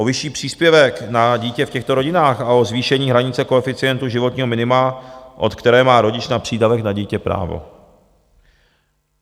O vyšší příspěvek na dítě v těchto rodinách a o zvýšení hranice koeficientu životního minima, od které má rodič na přídavek na dítě právo.